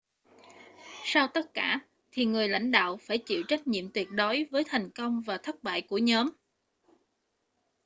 sau tất cả thì người lãnh đạo phải chịu trách nhiệm tuyệt đối với thành công và thất bại của nhóm